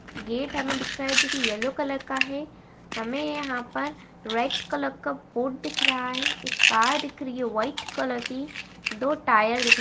gate हमें दिख रहा है जो की येल्लो कलर का है हमें यहाँ पर रेड कलर का बोर्ड दिख रहा हैएक कार दिख रही है व्हाइट कलर की दो टायर दि --